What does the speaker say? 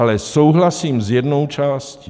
Ale souhlasím s jednou částí.